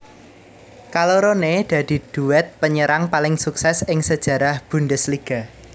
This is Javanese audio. Kaloroné dadi duet penyerang paling sukses ing sejarah Bundesliga